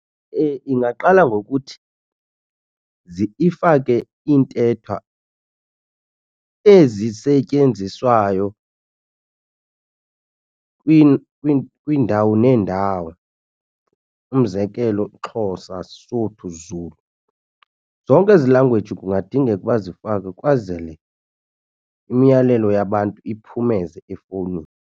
Ingaqala ngokuthi ifake iintetha ezisetyenziswayo kwiindawo neendawo. Umzekelo, Xhosa, siSotho, Zulu zonke ezi language kungadingeka ukuba zifakwe ukwazele imiyalelo yabantu iphumeze efowunini.